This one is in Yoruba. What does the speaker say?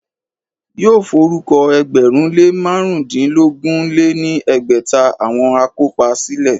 Yóò forúkọ ẹgbẹ̀rún lé márùndínogún lé ní ẹgbẹ́ta àwọn akópa sílẹ̀